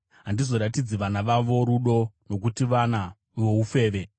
Handizoratidzi vana vavo rudo, nokuti vana voufeve.